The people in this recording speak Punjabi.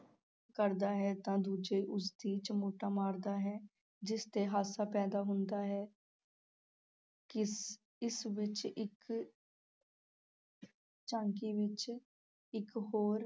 ਕਰਦਾ ਹੈ ਤਾਂ ਦੂਜੇ ਉਸ ਦੇ ਚਮੋਟਾ ਮਾਰਦਾ ਹੈ ਜਿਸ 'ਤੇ ਹਾਸਾ ਪੈਦਾ ਹੁੰਦਾ ਹੈ ਕਿਸ ਇਸ ਵਿੱਚ ਇੱਕ ਝਾਂਕੀ ਵਿੱਚ ਇੱਕ ਹੋਰ